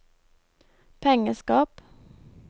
pengeskap